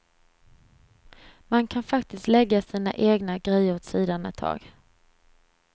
Man kan faktiskt lägga sina egna grejer åt sidan ett tag.